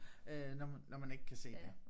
Øh når man når man ikke kan se det